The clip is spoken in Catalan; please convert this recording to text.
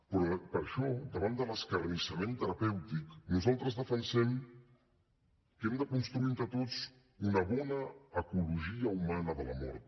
però per això davant de l’acarnissament terapèutic nosaltres defensem que hem de construir entre tots una bona ecologia humana de la mort